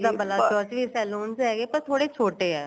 ਵੈਸੇ ਤਾਂ ਬਲਾਚੋਰ ਚ ਵੀ saloons ਹੈਗੇ ਥੋੜੇ ਛੋਟੇ ਏ